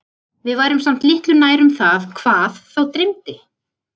Við værum samt litlu nær um það HVAÐ þá dreymdi.